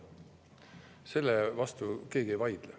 Selle vastu keegi ei vaidle.